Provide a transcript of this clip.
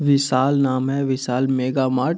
विशाल नाम है Vishal Mega Mart --